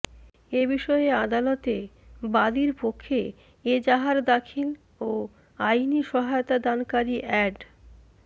এ বিষয়ে আদালতে বাদীর পক্ষে এজাহার দাখিল ও আইনি সহায়তাদানকারী এ্যাড